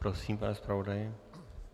Prosím, pane zpravodaji.